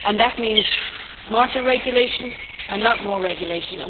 That means smarter regulation and not more regulation.